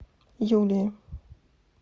юлии